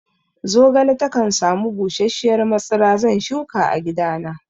Zogale takan sami busasshiyar matsira, zan shuka a gidana